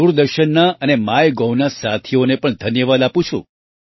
હું દૂરદર્શનના અને MyGovના સાથીઓને પણ ધન્યવાદ આપું છું